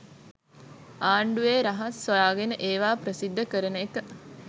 ආන්ඩුවේ රහස් හොයාගෙන ඒවා ප්‍රසිද්ද කරන එක